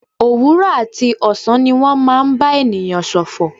Òwúrọ̀ àti ọ̀sán ni wọ́n máa ń bá ènìyàn ṣòfò.